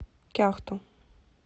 кяхту